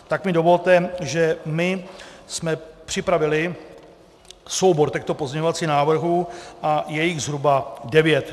Tak mi dovolte, že my jsme připravili soubor těchto pozměňovacích návrhů, a je jich zhruba devět.